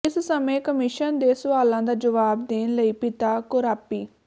ਇਸ ਸਮੇਂ ਕਮਿਸ਼ਨ ਦੇ ਸੁਆਲਾਂ ਦਾ ਜਵਾਬ ਦੇਣ ਲਈ ਪਿਤਾ ਕੋਰਾਪੀ